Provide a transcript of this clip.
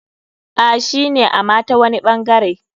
A,shine ama tawani ɓangare.